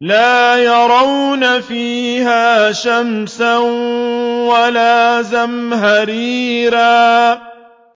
لَا يَرَوْنَ فِيهَا شَمْسًا وَلَا زَمْهَرِيرًا